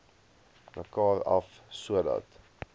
mekaar af sodat